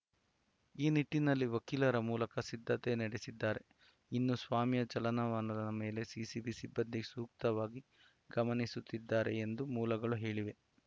ಈ ನಿಟ್ಟಿನಲ್ಲಿ ವಕೀಲರ ಮೂಲಕ ಸಿದ್ಧತೆ ನಡೆಸಿದ್ದಾರೆ ಇನ್ನು ಸ್ವಾಮಿಯ ಚಲನವಲನ ಮೇಲೆ ಎಸಿಬಿ ಸಿಬ್ಬಂದಿ ಸೂಕ್ಷ್ಮವಾಗಿ ಗಮನಿಸುತ್ತಿದ್ದಾರೆ ಎಂದು ಮೂಲಗಳು ಹೇಳಿವೆ